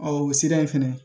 o sira in fɛnɛ